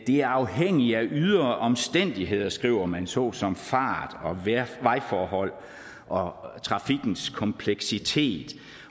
er afhængigt af ydre omstændigheder skriver man såsom fart vejforhold og trafikkens kompleksitet